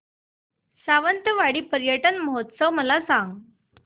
सावंतवाडी पर्यटन महोत्सव मला सांग